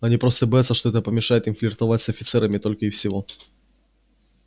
они просто боятся что это помешает им флиртовать с офицерами только и всего